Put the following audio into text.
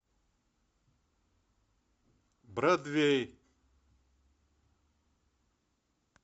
бродвей